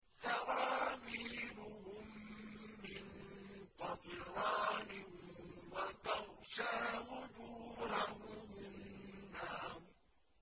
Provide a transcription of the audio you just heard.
سَرَابِيلُهُم مِّن قَطِرَانٍ وَتَغْشَىٰ وُجُوهَهُمُ النَّارُ